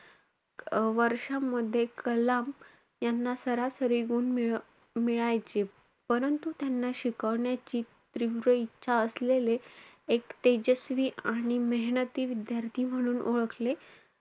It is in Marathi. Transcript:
वर्षांमध्ये कलाम याना सरासरी गुण मिळ~ मिळायचे. परंतु त्यांना शिकवण्याची तीव्र इच्छा असलेले एक तेजस्वी आणि मेहनती विद्यार्थी म्हणून ओळखले,